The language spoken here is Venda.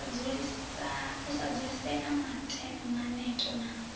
u sa dzulisea maneto na